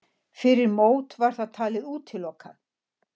Fyrir mót var það talið útilokað.